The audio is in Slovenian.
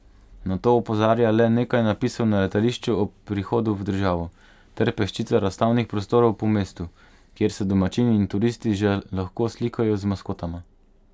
Na to opozarja le nekaj napisov na letališču ob prihodu v državo, ter peščica razstavnih prostorov po mestu, kjer se domačini in turisti že lahko slikajo z maskotama.